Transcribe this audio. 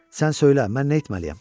Sən söylə, mən nə etməliyəm?